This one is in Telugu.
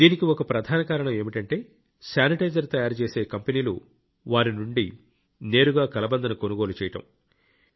దీనికి ఒక ప్రధాన కారణం ఏమిటంటే శానిటైజర్ తయారుచేసే కంపెనీలు వారి నుండి నేరుగా కలబందను కొనుగోలు చేయడం